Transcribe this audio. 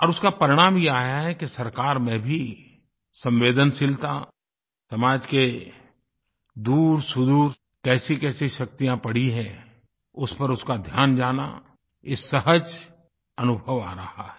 और उसका परिणाम ये आया है कि सरकार में भी संवेदनशीलता समाज के दूरसुदूर कैसीकैसी शक्तियाँ पड़ी हैं उस पर उसका ध्यान जाना ये सहज अनुभव आ रहा है